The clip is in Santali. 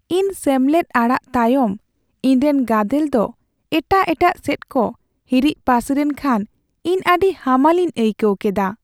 ᱤᱧ ᱥᱮᱢᱞᱮᱫ ᱟᱲᱟᱜ ᱛᱟᱭᱚᱢ ᱤᱧᱨᱮᱱ ᱜᱟᱫᱮᱞ ᱫᱚ ᱮᱴᱟᱜ ᱮᱴᱟᱜ ᱥᱮᱪᱠᱚ ᱦᱟᱹᱨᱤᱡ ᱯᱟᱹᱥᱤᱨᱮᱱ ᱠᱦᱟᱱ ᱤᱧ ᱟᱹᱰᱤ ᱦᱟᱢᱟᱞᱤᱧ ᱟᱹᱭᱠᱟᱹᱣ ᱠᱮᱫᱟ ᱾